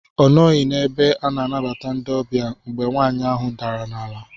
Ọ nọghị n'ebe ana anabata ndị ọbịa mgbe nwaanyị ahụ dara n'ala.